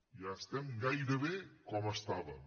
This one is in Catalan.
ja estem gairebé com estàvem